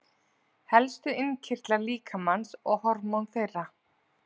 Helstu innkirtlar líkamans og hormón þeirra.